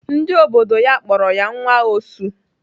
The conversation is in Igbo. Ndị obodo ya kpọrọ ya nwa osu.